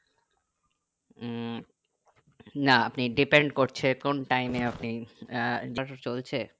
উম না আপনি depend করেছে কোন time এ আপনি আহ বাস চলছে